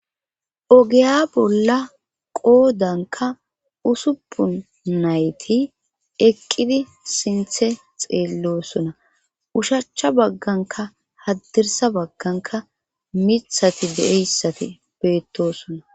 Ogeya bolla qoodanka usupun nayti eqqidi sinthe xeellosuna ushachcha bagganka haddirsa bagganka mithati deeyssati beettosuna.